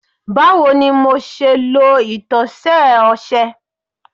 Bawo ni MO ṣe lo itọsẹ ọṣẹ